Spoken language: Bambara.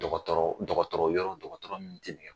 Dɔgɔtɔrɔ dɔgɔtɔrɔ yɔrɔ dɔgɔtɔrɔ min tɛ